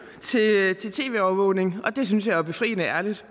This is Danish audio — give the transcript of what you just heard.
til tv overvågning og det synes jeg jo er befriende ærligt